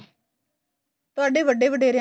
ਤੁਹਾਡੇ ਵੱਡੇ ਵਡੇਰਿਆ